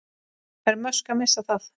Er Musk að missa það?